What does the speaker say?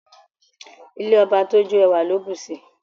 Ilé ọba tó jó, ẹwà ló bùsi.